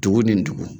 Dugu ni dugu